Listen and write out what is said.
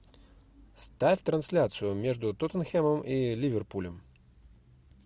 ставь трансляцию между тоттенхэмом и ливерпулем